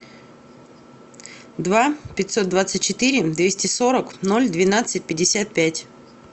два пятьсот двадцать четыре двести сорок ноль двенадцать пятьдесят пять